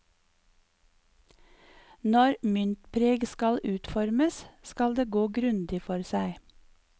Når myntpreg skal utformes, skal det gå grundig for seg.